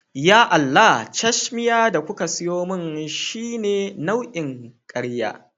Ya Allah! cashmiya da kuka siyo min shine nau'in karya